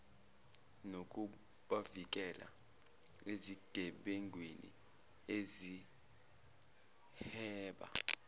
nokubavikela ezigebengwini ezihweba